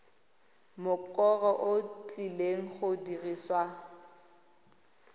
mokoro o tlileng go dirisiwa